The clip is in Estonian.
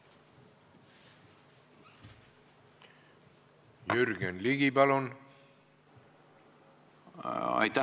Jürgen Ligi, palun!